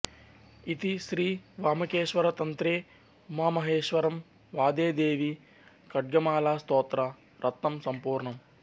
ఇతి శ్రీ వామకేశ్వరతంత్రే ఉమామహేశ్వరసంవాదే దేవీ ఖడ్గమాలాస్తోత్ర రత్నం సంపూర్ణం